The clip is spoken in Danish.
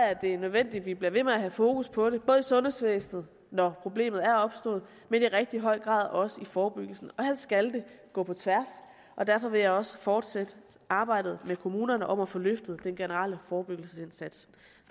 er det nødvendigt at vi bliver ved med at have fokus på det både i sundhedsvæsenet når problemet er opstået og i rigtig høj grad også i forebyggelsen og her skal det gå på tværs derfor vil jeg også fortsætte arbejdet med kommunerne om at få løftet den generelle forebyggelsesindsats